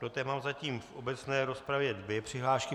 Do té mám zatím v obecné rozpravě dvě přihlášky.